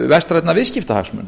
vestrænna viðskiptahagsmuna